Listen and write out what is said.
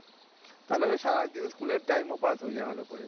তাহলে তো সারাদিন স্কুলের ও হয়ে যায় ভালো করে